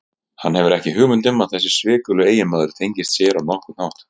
Hann hefur ekki hugmynd um að þessi svikuli eiginmaður tengist sér á nokkurn hátt.